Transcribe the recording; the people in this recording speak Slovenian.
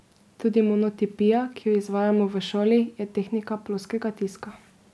Tudi monotipija, ki jo izvajamo v šoli, je tehnika ploskega tiska.